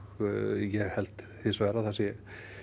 ég held hins vegar að það sé